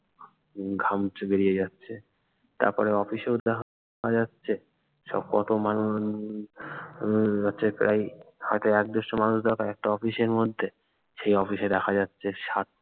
উম ঘাম চুয়ে বেরিয়ে যাচ্ছে তারপরে অফিসেও দেখা যাচ্ছে সব কত মানুষ উম আহ হয়তো এক দেড়শো মানুষ দেখা যায় একটা অফিসের মধ্যে সে অফিসের দেখা যাচ্ছে ষাট